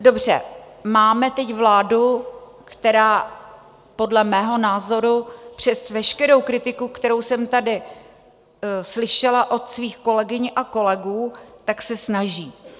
Dobře, máme teď vládu, která podle mého názoru, přes veškerou kritiku, kterou jsem tady slyšela od svých kolegyň a kolegů, tak se snaží.